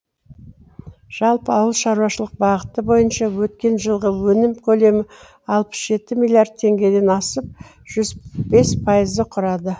жалпы ауыл шаруашылық бағыты бойынша өткен жылғы өнім көлемі алпыс жеті миллиард теңгеден асып жүз бес пайызды құрады